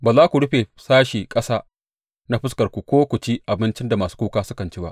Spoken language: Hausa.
Ba za ku rufe sashe ƙasa na fuskarku ko ku ci abinci da masu kuka sukan ci ba.